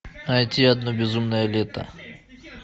найти одно безумное лето